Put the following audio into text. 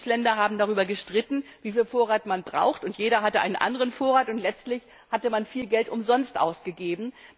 Die Bundesländer haben darüber gestritten, wieviel Vorrat man braucht. Jeder hatte einen anderen Vorrat, und letztlich hatte man viel Geld umsonst ausgegeben.